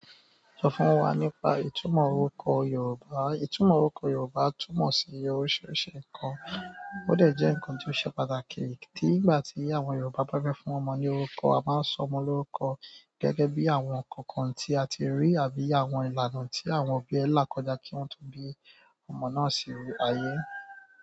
Sọ fún wa nípa ìtumọ̀ orúkọ Yorùbá. Ìtumọ̀ orúkọ Yorùbá túmọ̀ sí oríṣiríṣi nǹkan, ó dẹ̀ jẹ́ nǹkan tí ó ṣe pàtàkì. Nígbà tí àwọn Yorùbá bá fẹ́ fún ọmọ ní orúkọ, a máa ń sọ ọmọ lórúkọ gẹ́gẹ́ bí àwọn ǹkan kan tí a ti rí àbí àwọn ìlànà tí àwọn òbí ẹ̀ lákòjá kí wọ́n tó bí ọmọ náà sínú ayé.